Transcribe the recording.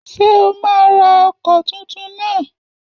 Ṣé o máa ra ọkọ̀ tuntun náà?